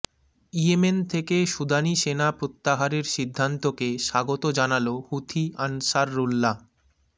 Yemen থেকে সুদানি সেনা প্রত্যাহারের সিদ্ধান্তকে স্বাগত জানাল হুথি আনসারুল্লাহ